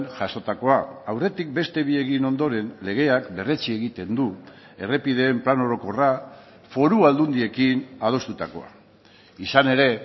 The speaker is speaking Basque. jasotakoa aurretik beste bi egin ondoren legeak berretsi egiten du errepideen plan orokorra foru aldundiekin adostutakoa izan ere